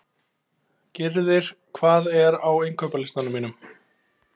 Gyrðir, hvað er á innkaupalistanum mínum?